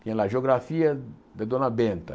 Tinha lá Geografia da Dona Benta.